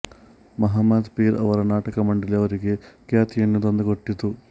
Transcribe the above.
ಮಹಮ್ಮದ್ ಪೀರ್ ಅವರ ನಾಟಕ ಮಂಡಳಿ ಅವರಿಗೆ ಖ್ಯಾತಿಯನ್ನು ತಂದುಕೊಟ್ಟಿತು